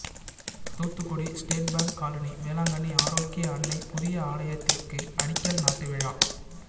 Thoothukudi state bank colony Velankanni ஆரோக்கிய அன்னை புதிய ஆலயத்திற்கு அடிக்கல் நாட்டு விழா